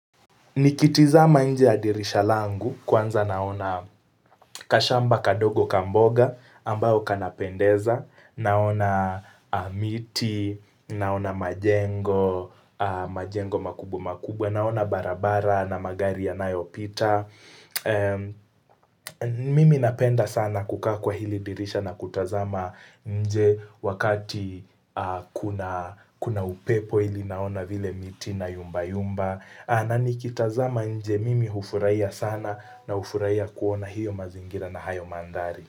Nikitizama nje ya dirisha langu kwanza naona kashamba kadogo ka mboga ambao kanapendeza, naona miti, naona majengo, majengo makubwa makubwa, naona barabara na magari ya nayo pita. Mimi napenda sana kukaa kwa hili dirisha na kutazama nje wakati kuna kuna upepo ili naona vile miti ina yumba yumba. Na ni kitazama nje mimi hufurahia sana na hufurahia kuona hiyo mazingira na hayo mandhari.